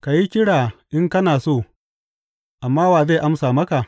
Ka yi kira in kana so, amma wa zai amsa maka?